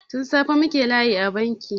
Tun safe muke layi a banki.